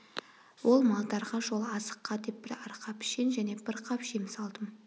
ол малдарға жол азыққа деп бір арқа пішен және бір қап жем салдым